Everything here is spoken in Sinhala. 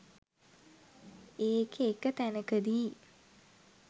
ඒකෙ එක තැනකදී